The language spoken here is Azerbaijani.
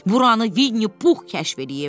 Buranı Winnie Puh kəşf eləyib.